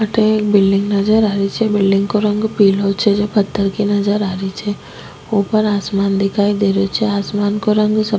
अठे एक बिल्डिंग नजर आ री छे बिल्डिंग को रंग पिलो छे जे पत्थर की नजर आ री छे ऊपर आसमान दिखाई दे रेहो छे आसमान को रंग स --